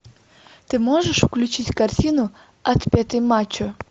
ты можешь включить картину отпетый мачо